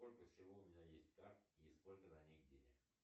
сколько всего у меня есть карт и сколько на них денег